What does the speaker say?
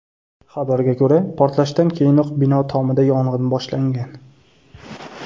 Xabarga ko‘ra, portlashdan keyinoq bino tomida yong‘in boshlangan.